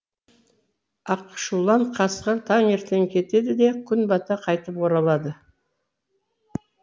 ақшулан қасқыр таңертең кетеді де күн бата қайтып оралады